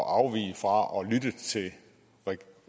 at afvige fra